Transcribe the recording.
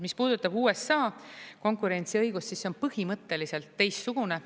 Mis puudutab USA konkurentsiõigust, siis see on põhimõtteliselt teistsugune.